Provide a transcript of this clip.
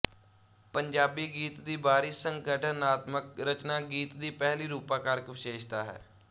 ਪੰਜਾਬੀ ਗੀਤ ਦੀ ਬਾਹਰੀ ਸੰਗਠਨਾਤਮਕ ਰਚਨਾ ਗੀਤ ਦੀ ਪਹਿਲੀ ਰੂਪਾਕਾਰਕ ਵਿਸ਼ੇਸ਼ਤਾ ਹੈ